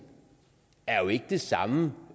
er jo ikke det samme